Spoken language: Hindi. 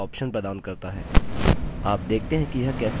अब देखते हैं कि यह कैसे कार्यान्वित होता है